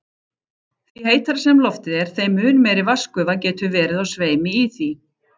Því heitara sem loftið er, þeim mun meiri vatnsgufa getur verið á sveimi í því.